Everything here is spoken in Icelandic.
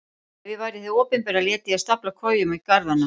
Ef ég væri hið opinbera léti ég stafla kojum í garðana.